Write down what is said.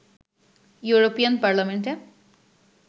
European পার্লামেন্টে